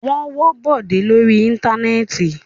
Wọ́n wọ́ Bọ̀dé lórí Íńtánẹ́ẹ̀tì.